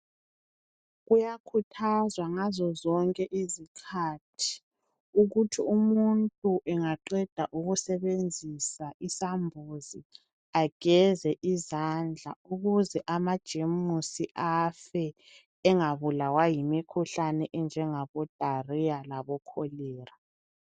Kuyakhuthazwa ngazo zonke izikhathi ukuthi umuntu engaqeda ukusebenzisa isambuzi ageze izandla. Ukuze amajemusi afe. Engabulawa yimikhuhlane enjengebo diarrhea , labo Cholera.